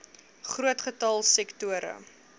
groot getal sektore